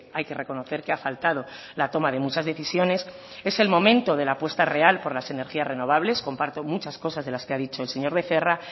hay que reconocer que ha faltado la toma de muchas decisiones es el momento de la apuesta real por las energías renovables comparto muchas cosas de las que ha dicho el señor becerra